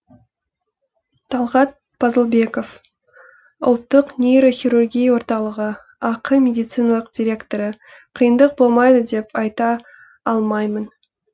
талғат пазылбеков ұлттық нейрохирургия орталығы ақ медициналық директоры қиындық болмайды деп айта алмаймын